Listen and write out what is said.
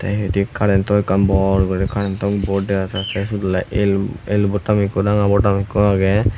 yod hi karento ekkan bor guri karento bod dega jar tey syot oley el el botom ikko aro ranga botom ikko agey.